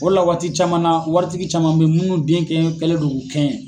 O le la waati caman na waritigi caman bɛ munnu den kɛ kɛlen do k'u kɛɲɛ.